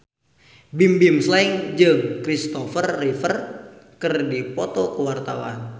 Bimbim Slank jeung Christopher Reeve keur dipoto ku wartawan